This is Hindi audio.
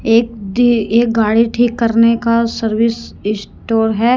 एक एक गाड़ी ठीक करने का सर्विस स्टोर है।